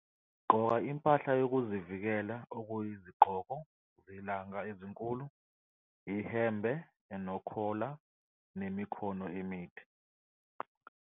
Gqoka impahla yokuzivikela okuyizigqoko zelanga ezinkulu, ihembe enokhola nemikhono emide.